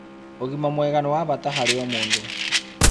Ũgima mwega nĩwa bata harĩ o mũndũ